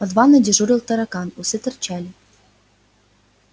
под ванной дежурил таракан усы торчали